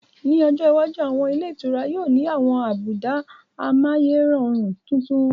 Ní ọjọ iwájú, àwọn ilé ìtura yóò ni àwọn àbùdá amáyérọrùn titun